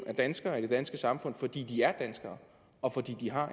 af danskere i det danske samfund fordi de er danskere og fordi de har